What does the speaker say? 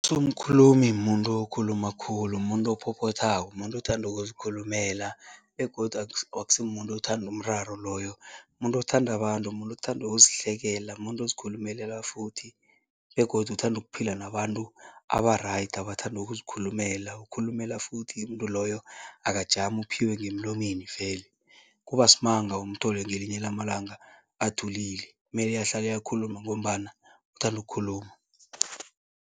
Usomkhulumi muntu okhuluma khulu, muntu ophophothako, muntu othanda ukuzikhulumela begodu akusimuntu uthanda umraro loyo, muntu othanda abantu, muntu othanda ukuzihlekela, muntu ozikhulumelela futhi begodu uthanda ukuphila nabantu aba-right, abathanda ukuzikhulumela. Ukhulumela futhi umuntu loyo, akajami, uphiwe ngemlonyeni vele, kuba simanga umthole ngelinye lamalanga athulile, mele ahlale akhuluma ngombana uthanda ukukhuluma.